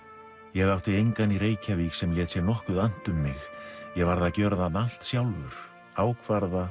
ég átti engan í Reykjavík sem lét sér nokkuð annt um mig ég varð að gjöra allt sjálfur ákvarða